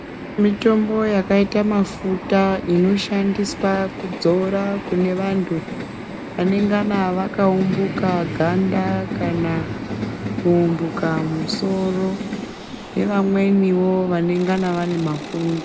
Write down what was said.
Mitombo yakaita mafuta inoshandiswa kudzora kunevanhu vanengana vakaumbuka ganda kana kuumbuka musoro nevamweniwo vanengana vane mapundu.